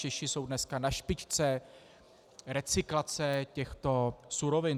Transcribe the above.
Češi jsou dneska na špičce recyklace těchto surovin.